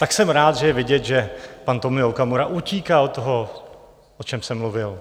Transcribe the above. Tak jsem rád, že je vidět, že pan Tomio Okamura utíkal od toho, o čem jsem mluvil.